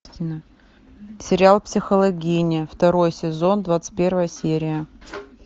сериал психологини второй сезон двадцать первая серия